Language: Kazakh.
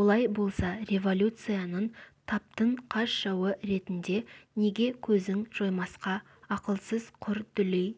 олай болса революцияның таптың қас жауы ретінде неге көзін жоймасқа ақылсыз құр дүлей